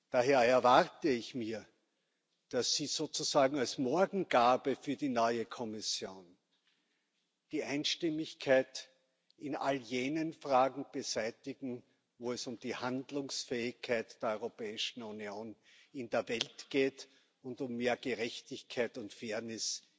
Daher erwarte ich mir, dass Sie sozusagen als Morgengabe für die neue Kommission die Einstimmigkeit in all jenen Fragen beseitigen, wo es um die Handlungsfähigkeit der Europäischen Union in der Welt geht und um mehr Gerechtigkeit und Fairness